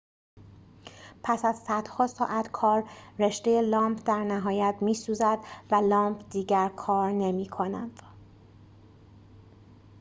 پس از صدها ساعت کار رشته لامپ در نهایت می‌سوزد و لامپ دیگر کار نمی‌کند